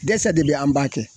Dɛsɛ de be an b'a kɛ